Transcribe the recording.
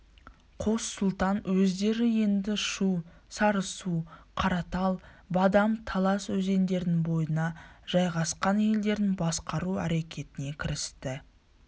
қос сұлтан өздері енді шу сарысу қаратал бадам талас өзендерінің бойына жайғасқан елдерін басқару әрекетіне кірісті